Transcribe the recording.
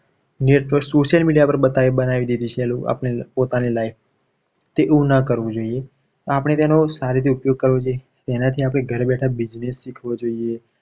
Social media પર બતાવી દીધું છે. એ લોકોએ આપણે પોતાની life એવું ના કરવું જોઈએ. તો આપણે એનો સારી રીતે ઉપયોગ કરવો જોઈએ. એનાથી આપણે ઘરે બેઠા business શીખવો જોઈએ.